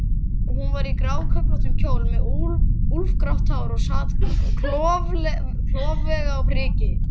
Og hún var í gráköflóttum kjól og með úlfgrátt hár og sat klofvega á priki.